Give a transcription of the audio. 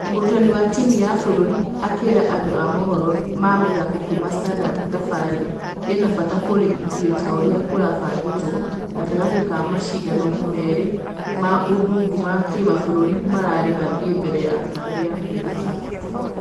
Mũrutani wa timũ ya bũrũri akĩra andũ a mohoro ma mĩthako kuuma standard thabarĩ ĩnabata kũrĩ ithue ta ũrĩa kũrabangĩtwo gatagatĩkwamashidano merĩ ma ũndũgũ ma kĩmabũrũri mararĩ mathie mbere ya ......kambĩ ya kwiruta ......